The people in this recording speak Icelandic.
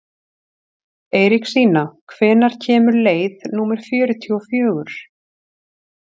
Eiríksína, hvenær kemur leið númer fjörutíu og fjögur?